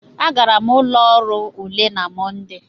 Agara m ụlọ ọrụ ule na Mọnde.